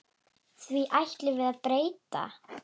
Því ætlum við að breyta.